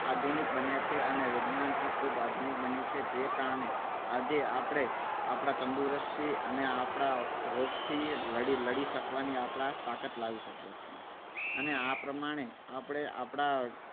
આધુનિક બન્યા છે. અને વિજ્ઞાન પણ ખૂબ જ આધુનિક બન્યું છે જેના કારણે આજે આપણે આપણા તંદુરસ્તી અને આપણા રોગથી લડી શકવાની આપણા મા તાકાત લાવી શકીએ છીએ. અને આ પ્રમાણે આપણે આપણા